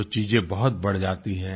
जो चीजें बहुत बढ़ जाती हैं